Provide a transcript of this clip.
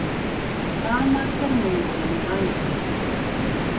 Sama hver móðirin væri.